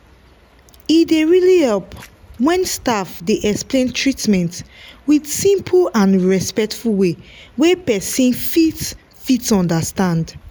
e dey really help when staff dey explain treatment with simple and respectful way wey person fit fit understand.